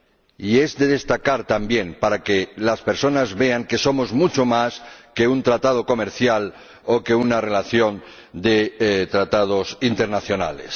Y es de destacar también para que las personas vean que somos mucho más que un tratado comercial o que una relación de tratados internacionales.